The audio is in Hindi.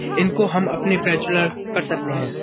इनको हम अपने कर सकते हैं।